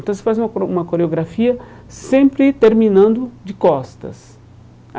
Então você faz uma coreo uma coreografia sempre terminando de costas. Aí